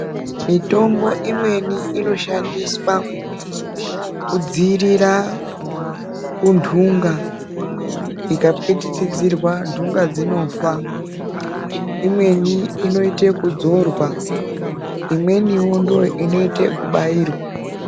Mitombo imweni inoshandiswa kudzivirira kundunga dzikapikichidzorwa ndunga dzinofa imweni inoita kudzorwa imweniwo ndiyo inoita nekubairwa.